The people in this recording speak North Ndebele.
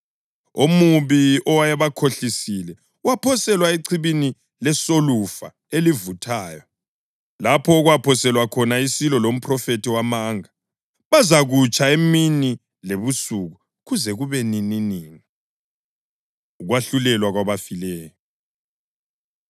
Omubi owayebakhohlisile waphoselwa echibini lesolufa elivuthayo, lapho okwakuphoselwe khona isilo lomphrofethi wamanga. Bazakutsha emini lebusuku kuze kube nininini. Ukwahlulelwa Kwabafileyo